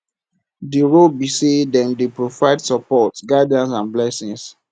di role be say dem dey provide support guidance and blessings